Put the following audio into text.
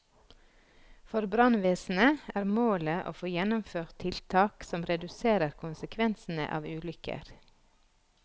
For brannvesenet er målet å få gjennomført tiltak som reduserer konsekvensene av ulykker.